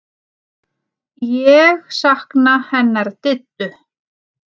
Ég sakna hennar Diddu.